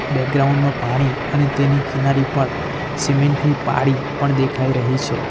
Background માં પાણી અને તેની કિનારી પણ સિમેન્ટ ની પાળી પણ દેખાઈ રહી છે.